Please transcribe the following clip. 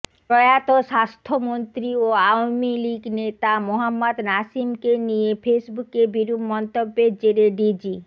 প্রয়াত স্বাস্থ্যমন্ত্রী ও আওয়ামী লীগ নেতা মোহাম্মদ নাসিমকে নিয়ে ফেসবুকে বিরূপ মন্তব্যের জেরে ডিজি